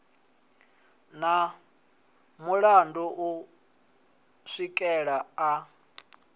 na mulandu u swikela a